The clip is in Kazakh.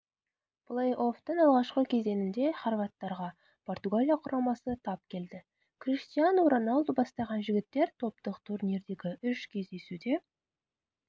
плей-оффтың алғашқы кезеңінде хорваттарға португалия құрамасы тап келді криштиану роналду бастаған жігіттер топтық турнирдегі үш кездесуде